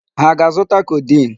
Ha aga-azụta codeine?